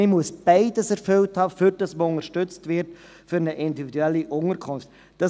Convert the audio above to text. Man muss beides erfüllen, damit man für eine individuelle Unterkunft unterstützt wird.